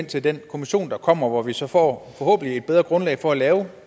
til den kommission der kommer hvor vi så forhåbentlig får et bedre grundlag for at lave